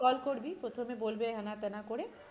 Number টাই যেই call করবি প্রথমে বলবে হ্যান ত্যান করে